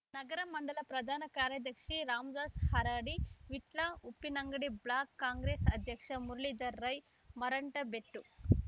ನಗರ ಮಂಡಲ ಪ್ರಧಾನ ಕಾರ್ಯದರ್ಶಿ ರಾಮದಾಸ್ ಹಾರಾಡಿ ವಿಟ್ಲ ಉಪ್ಪಿನಂಗಡಿ ಬ್ಲಾಕ್ ಕಾಂಗ್ರೇಸ್ ಅಧ್ಯಕ್ಷ ಮುರಳೀಧರ್ ರೈ ಮಠಂತಬೆಟ್ಟು